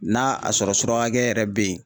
N'a sɔrɔ surakakɛ yɛrɛ be yen.